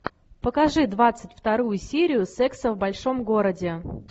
покажи двадцать вторую серию секса в большом городе